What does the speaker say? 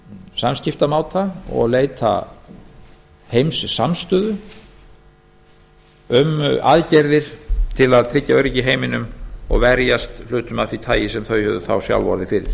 samskiptamáta og leita heimssamstöðu um aðgerðir til að tryggja öryggi í heiminum og verjast hlutum af því tagi sem þau höfðu þá sjálf orðið fyrir